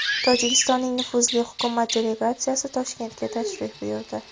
Tojikistonning nufuzli hukumat delegatsiyasi Toshkentga tashrif buyurdi.